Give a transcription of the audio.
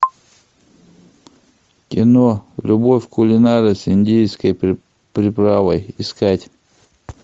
кино любовь кулинара с индийской приправой искать